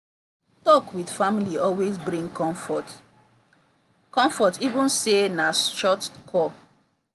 talk with family always bring comfort comfort even say na short call.